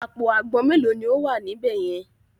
Àpò àgbọn mélòó ni ó wà níbẹ̀ yẹn?